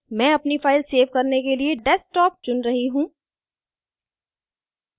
मैं अपनी file save करने के लिए desktop चुन रही हूँ